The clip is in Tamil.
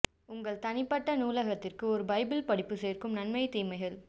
உங்கள் தனிப்பட்ட நூலகத்திற்கு ஒரு பைபிள் படிப்பு சேர்க்கும் நன்மை தீமைகள்